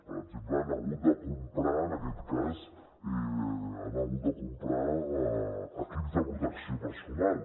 per exemple han hagut de comprar en aquest cas han hagut de comprar equips de protecció personal